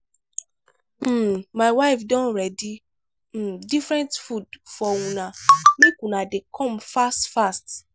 um my wife don ready um different food for una make una dey come fast fast.